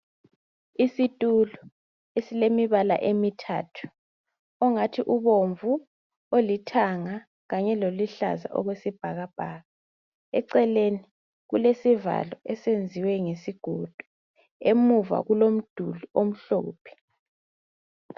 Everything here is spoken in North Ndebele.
Isitulo esilemibala emithathu ongathi ubomvu olithanga kanye loluhlaza okwesibhakabhaka eceleni kulesivalo esenziwe ngesigodo emuva kulomduli omhlophe.